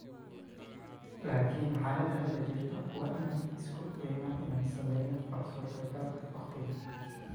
Laakin xaalada hadda jirta waa inaan isku daynaa inaan sameyno waxa suurta gal ah waqtigan.